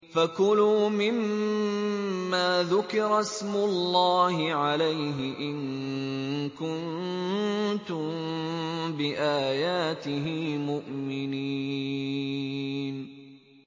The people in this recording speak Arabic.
فَكُلُوا مِمَّا ذُكِرَ اسْمُ اللَّهِ عَلَيْهِ إِن كُنتُم بِآيَاتِهِ مُؤْمِنِينَ